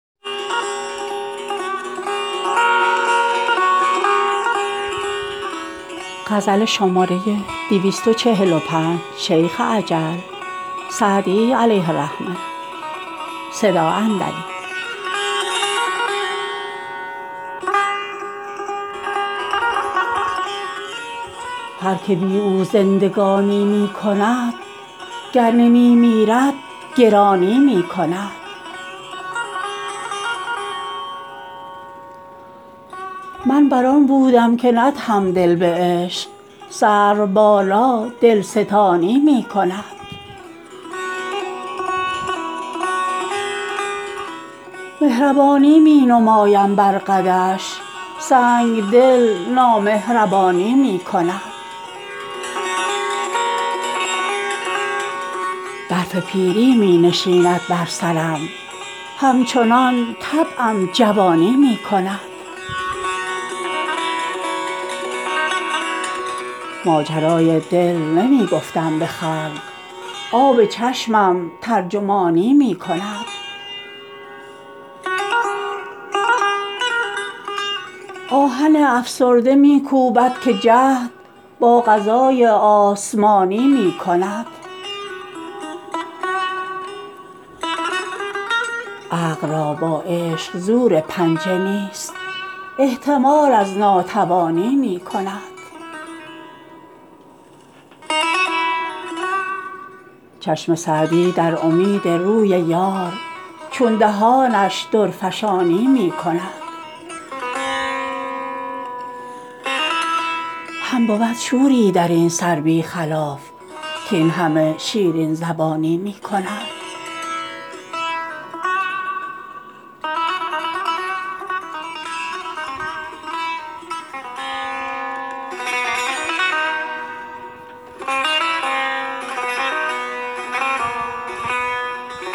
هر که بی او زندگانی می کند گر نمی میرد گرانی می کند من بر آن بودم که ندهم دل به عشق سروبالا دلستانی می کند مهربانی می نمایم بر قدش سنگدل نامهربانی می کند برف پیری می نشیند بر سرم همچنان طبعم جوانی می کند ماجرای دل نمی گفتم به خلق آب چشمم ترجمانی می کند آهن افسرده می کوبد که جهد با قضای آسمانی می کند عقل را با عشق زور پنجه نیست احتمال از ناتوانی می کند چشم سعدی در امید روی یار چون دهانش درفشانی می کند هم بود شوری در این سر بی خلاف کاین همه شیرین زبانی می کند